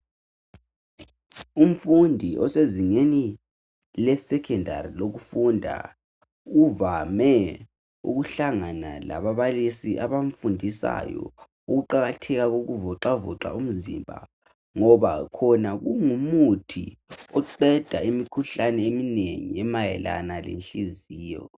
Umfundi osezingeni lesekhendari lokufunda kuvame ukuhlangana lababalisi abamfundisayo ukuqakatheka kokuvoxavoxa umzimba ngoba khona kungumuthi oqeda imikhuhlane eminengi emayelana lenhliziyo